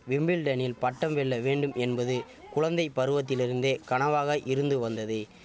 விம்பிள்டனில் பட்டம் வெல்ல வேண்டும் என்பது குழந்தை பருவத்திலிருந்தே கனவாக இருந்து வந்தது